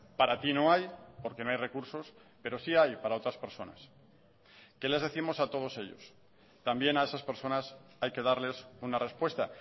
para ti no hay porque no hay recursos pero sí hay para otras personas qué les décimos a todos ellos también a esas personas hay que darles una respuesta